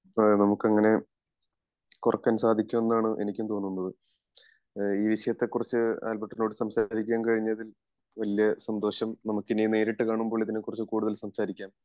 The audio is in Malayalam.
അതെ നമുക്കങ്ങിനെ സാധിച്ചു എന്നാണ് എനിക്കും തോന്നുന്നത് ഈ വിഷയത്തെ കുറിച്ച് ആൽബെർട്ടിനോട് സംസാരിക്കാൻ കഴിഞ്ഞതിൽ വല്യ സന്തോഷം നമുക്ക് ഇനി നേരിട്ട് കാണുമ്പോൾ ഇതിനെ കുറിച്ച് കൂടുതൽ സംസാരിക്കാം